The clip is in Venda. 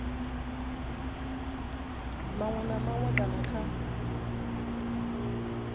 maṅwe na maṅwe kana kha